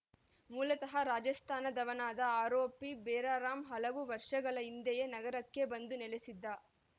ಮೂಲತಃ ರಾಜಸ್ಥಾನದವನಾದ ಆರೋಪಿ ಬೇರಾರಾಮ್‌ ಹಲವು ವರ್ಷಗಳ ಹಿಂದೆಯೇ ನಗರಕ್ಕೆ ಬಂದು ನೆಲೆಸಿದ್ದ